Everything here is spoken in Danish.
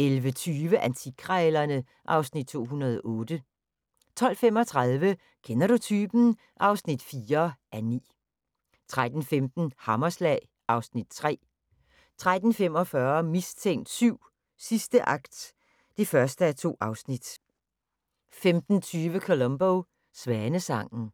11:20: Antikkrejlerne (Afs. 208) 12:35: Kender du typen? (4:9) 13:15: Hammerslag (Afs. 3) 13:45: Mistænkt 7: Sidste akt (1:2) 15:20: Columbo: Svanesangen